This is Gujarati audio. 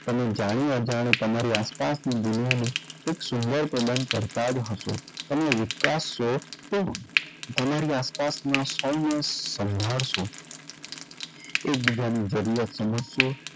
તમને જાણી અજાણી તમારી આસપાસની દુનિયાને કાઈક સુંદર પ્રદાન કરતાં જ હશો તમે તો તમારી આસપાસનાં સૌને સંભાળશો એકબીજાની જરૂરિયાત સમજશો.